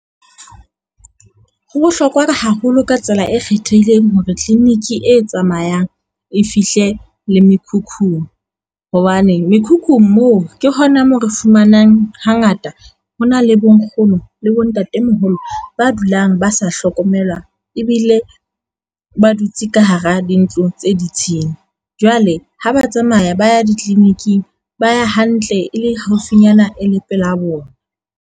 Ho bohlokwa haholo ka tsela e kgethehileng hore tliliniki e tsamayang e fihle le mekhukhung, hobane mekhukhung moo ke hona moo re fumanang hangata ho na le bonkgono le bontatemoholo ba dulang ba sa hlokomelwa ebile ba dutse ka hara dintlo tse ditshila. Jwale ha ba tsamaya ba ya di-clinic -ing ba ya hantle e le haufinyana e le pela bona.